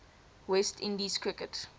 west indies cricket